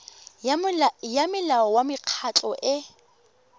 ya molao wa mekgatlho e